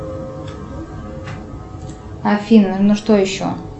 афина ну что еще